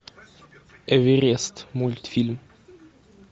эверест мультфильм